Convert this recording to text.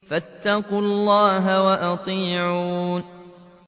فَاتَّقُوا اللَّهَ وَأَطِيعُونِ